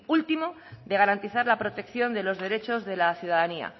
último de garantizar la protección de los derechos de la ciudadanía